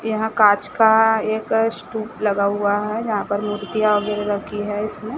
यहाँ कांच का एक स्टूप लगा हुआ है जहाँ पर मूर्तियां वगैरह रखी है इसमें।